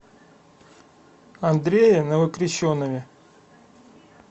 андрее новокрещенове